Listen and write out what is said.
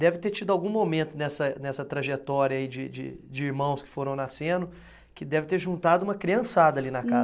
Deve ter tido algum momento nessa, nessa trajetória aí de de de irmãos que foram nascendo que deve ter juntado uma criançada ali na casa.